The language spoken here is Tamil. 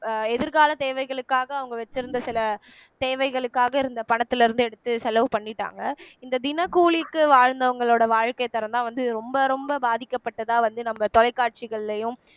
அஹ் எதிர்கால தேவைகளுக்காக அவங்க வச்சிருந்த சில தேவைகளுக்காக இருந்த பணத்திலிருந்து எடுத்து செலவு பண்ணிட்டாங்க இந்த தினக்கூலிக்கு வாழ்ந்தவங்களோட வாழ்க்கைத்தரம்தான் வந்து ரொம்ப ரொம்ப பாதிக்கப்பட்டதா வந்து நம்ம தொலைக்காட்சிகள்லயும்